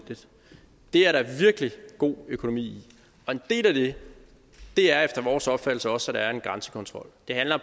er der virkelig god økonomi i og en del af det er efter vores opfattelse også at der er en grænsekontrol det handler